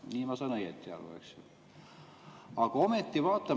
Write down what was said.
Nii ma saan õieti aru, eks ju?